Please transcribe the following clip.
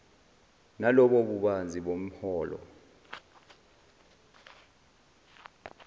nalobo bubanzi bomholo